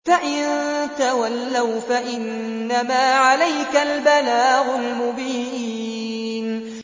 فَإِن تَوَلَّوْا فَإِنَّمَا عَلَيْكَ الْبَلَاغُ الْمُبِينُ